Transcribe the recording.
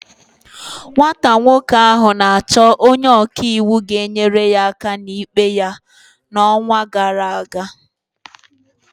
Nwata nwoke ahụ na-achọ onye ọka iwu ga-enyere ya aka n'ikpe ya n'ọnwa gara aga.